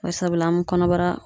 Bari sabula, an bi kɔnɔbara